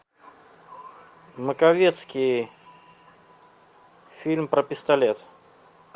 маковецкий фильм про пистолет